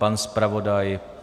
Pan zpravodaj?